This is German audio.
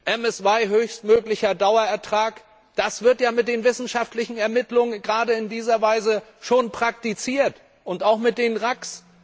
MSY höchstmöglicher Dauerertrag, das wird ja mit den wissenschaftlichen Ermittlungen gerade in dieser Weise schon praktiziert, auch mit den RAC.